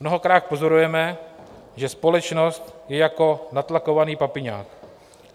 Mnohokrát pozorujeme, že společnost je jako natlakovaný papiňák.